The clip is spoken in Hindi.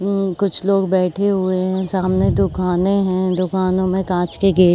उम्म कुछ लोग बैठे हुए हैं। सामने दोकानें हैं। दोकानों में कांच के गेट --